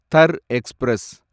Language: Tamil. தர் எக்ஸ்பிரஸ்